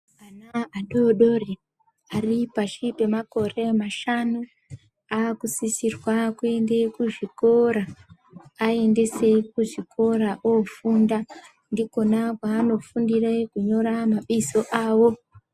Vana vadodori vari pashi pemakore mashanu ava kusisirwa kuenda kuzvikora aendesei kuzvikora vanofunda ndikona kwavanofundiswa kunyora mabizo avo.